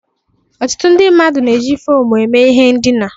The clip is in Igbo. Ọtụtụ ndị mmadụ na-eji foomụ eme ihe ndina.